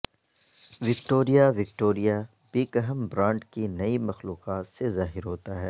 Victoria Victoria Beckham brand کی نئی مخلوقات سے ظاہر ہوتا ہے